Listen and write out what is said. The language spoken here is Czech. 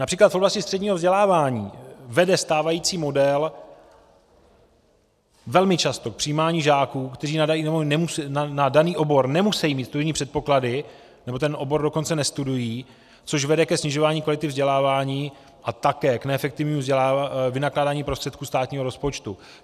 Například v oblasti středního vzdělávání vede stávající model velmi často k přijímání žáků, kteří na daný obor nemusí mít studijní předpoklady, nebo ten obor dokonce nestudují, což vede ke snižování kvality vzdělávání a také k neefektivnímu vynakládání prostředků státního rozpočtu.